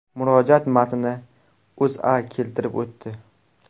Murojaat matnini O‘zA keltirib o‘tdi .